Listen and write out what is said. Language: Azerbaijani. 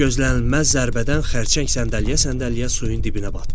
Gözlənilməz zərbədən xərçəng səndələyə-səndələyə suyun dibinə batdı.